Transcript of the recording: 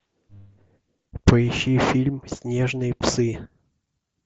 поищи фильм снежные псы